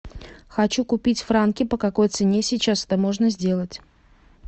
хочу купить франки по какой цене сейчас это можно сделать